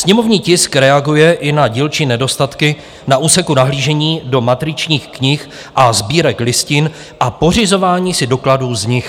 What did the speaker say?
Sněmovní tisk reaguje i na dílčí nedostatky na úseku nahlížení do matričních knih a sbírek listin a pořizování si dokladů z nich.